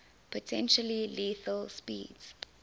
potentially lethal speeds